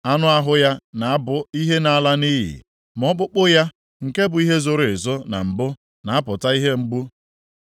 Anụ ahụ ya na-abụ ihe na-ala nʼiyi, ma ọkpụkpụ ya; nke bụ ihe zoro ezo na mbụ, na-apụta ihe ugbu a.